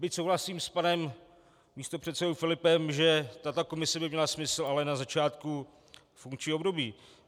Byť souhlasím s panem místopředsedou Filipem, že tato komise by měla smysl, ale na začátku funkčního období.